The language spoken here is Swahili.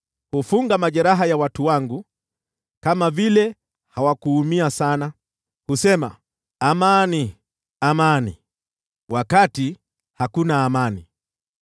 Wanafunga majeraha ya watu wangu bila uangalifu. Wanasema, ‘Amani, amani,’ wakati hakuna amani.